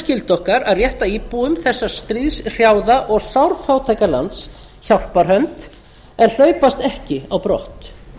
skylda okkar að rétta íbúum þessa stríðshrjáða og sárfátæka lands hjálparhönd en hlaupast ekki á brott